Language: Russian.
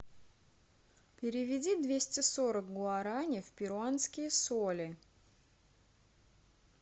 переведи двести сорок гуарани в перуанские соли